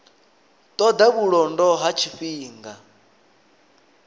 ṱo ḓa vhulondo ha tshifhinga